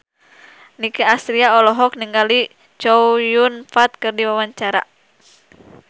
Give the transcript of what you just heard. Nicky Astria olohok ningali Chow Yun Fat keur diwawancara